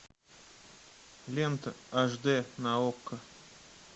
лента аш д на окко